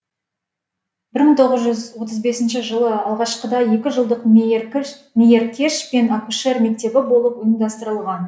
мың тоғыз жүз отыз бесінші жылы алғашқыда екі жылдық мейіркеш пен акушер мектебі болып ұйымдастырылған